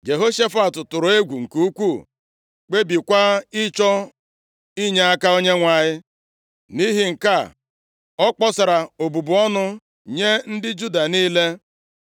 Jehoshafat tụrụ egwu nke ukwuu, kpebiekwa ịchọ inyeaka Onyenwe anyị. Nʼihi nke a, ọ kpọsara obubu ọnụ nye ndị Juda niile.